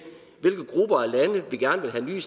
at blive